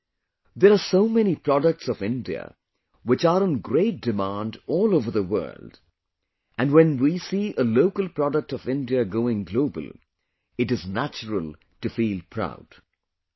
Friends, there are so many products of India which are in great demand all over the world and when we see a local product of India going global, it is natural to feel proud